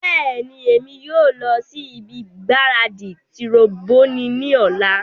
Bẹẹni, Emi yoo lọ si ibi gbaradi tiroboni ni ọla